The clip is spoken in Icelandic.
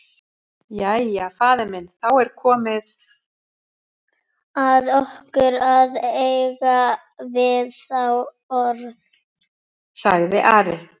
Jæja, faðir minn, þá er komið að okkur að eiga við þá orð, sagði Ari.